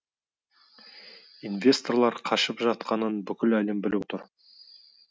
инвесторлар қашып жатқанын бүкіл әлем біліп отыр